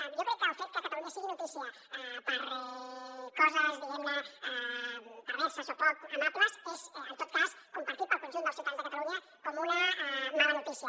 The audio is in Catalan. jo crec que el fet que catalunya sigui notícia per coses diguem ne perverses o poc amables és en tot cas compartit pel conjunt dels ciutadans de catalunya com una mala notícia